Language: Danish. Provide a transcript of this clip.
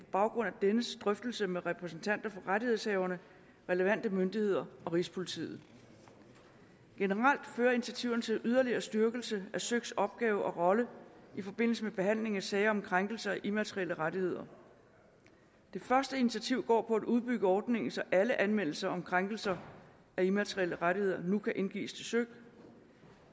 baggrund af dennes drøftelse med repræsentanter for rettighedshaverne relevante myndigheder og rigspolitiet generelt fører initiativerne til yderligere styrkelse af søiks opgave og rolle i forbindelse med behandling af sager om krænkelse af immaterielle rettigheder det første initiativ går på at udbygge ordningen så alle anmeldelser om krænkelse af immaterielle rettigheder nu kan indgives til søik